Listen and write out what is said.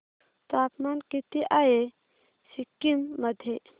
तापमान किती आहे सिक्किम मध्ये